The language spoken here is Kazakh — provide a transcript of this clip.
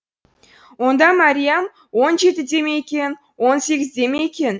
онда мәриям он жетіде ме екен он сегізде ме екен